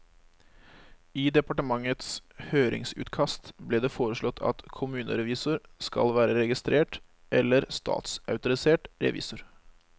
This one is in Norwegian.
I departementets høringsutkast ble det foreslått at kommunerevisor skal være registrert eller statsautorisert revisor.